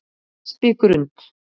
Espigrund